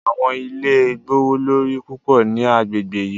Awọn ile gbowolori pupọ ni agbegbe yii